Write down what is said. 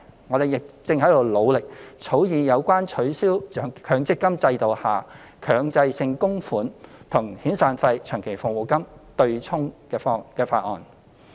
我們亦正在努力草擬有關取消強制性公積金制度下僱主強制性供款與遣散費及長期服務金"對沖"安排的法案。